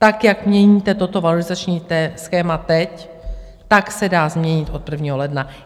Tak jak měníte toto valorizační schéma teď, tak se dá změnit od 1. ledna.